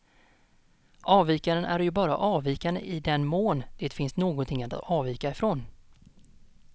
Avvikaren är ju bara avvikande i den mån det finns någonting att avvika ifrån.